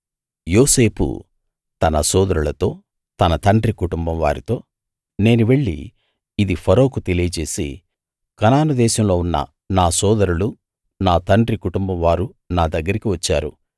యోసేపు తన సోదరులతో తన తండ్రి కుటుంబం వారితో నేను వెళ్ళి ఇది ఫరోకు తెలియచేసి కనాను దేశంలో ఉన్న నా సోదరులూ నా తండ్రి కుటుంబం వారూ నా దగ్గరికి వచ్చారు